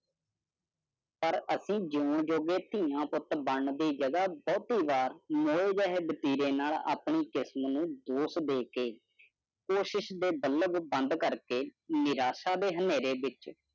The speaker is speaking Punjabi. ਪਰ ਅਸੀਂ ਜੀਓਣ ਜੋਗੇ ਧੀਆਂ ਪੁੱਤ ਬਣਨ ਦੀ ਜਗਹ ਬਹੁਤੀ ਵਾਰ ਨੌ ਜਹੇ ਵਤੀਰੇ ਨਾਲ ਆਪਣੀ ਕਿਸਮ ਨੂੰ ਦੋਸ਼ ਦੇ ਕੇ ਕੋਸ਼ਿਸ਼ ਦੇ ਬੱਲਬ ਬੰਦ ਕਰਕੇ ਨਿਰਾਸ਼ਾ ਦੇ ਹਨੇਰੇ ਵਿੱਚ